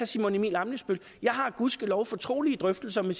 simon emil ammitzbøll jeg har gudskelov fortrolige drøftelser med